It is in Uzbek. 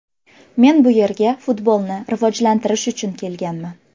Men bu yerga futbolni rivojlantirish uchun kelganman.